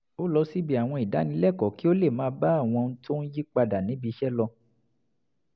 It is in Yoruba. ó lọ síbi àwọn ìdánilẹ́kọ̀ọ́ kí ó lè máa bá àwọn ohun tó ń yí padà níbi iṣẹ́ lọ